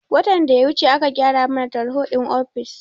Watan da ya wuce aka gyara mana tarho din ofis